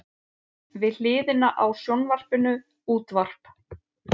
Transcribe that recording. Við hliðina á sjónvarpinu útvarp.